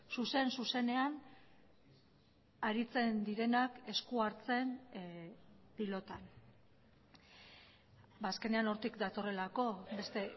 zuzen zuzenean aritzen direnak esku hartzen pilotan azkenean hortik datorrelako beste